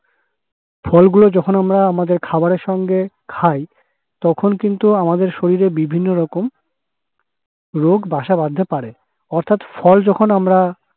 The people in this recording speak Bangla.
ফলগুলো যখন আমরা আমাদের খাবারের সঙ্গে খাই তখন কিন্তু আমাদের শরীরে বিভিন্নরকম রোগ বাসা বাঁধতে পরে। অর্থাৎ, ফল যখন আমরা